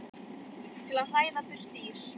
til að hræða burt dýr.